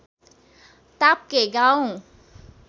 ताप्के गाउँ